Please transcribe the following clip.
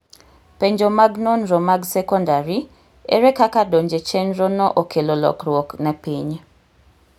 penjo mag nonromag sekondari : ere kaka donje chenro no okelo lokruok ne piny